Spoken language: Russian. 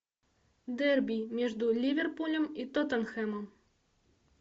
дерби между ливерпулем и тоттенхэмом